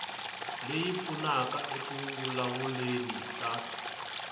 leyi pfunaka eku vulavuleni eka